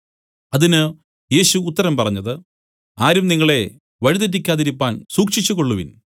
അതിന് യേശു ഉത്തരം പറഞ്ഞത് ആരും നിങ്ങളെ വഴി തെറ്റിക്കാതിരിപ്പാൻ സൂക്ഷിച്ചുകൊള്ളുവിൻ